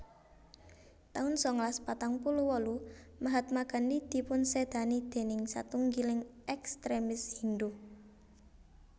taun sangalas patang puluh wolu Mahatma Gandhi dipunsédani déning satunggiling ekstremis Hindhu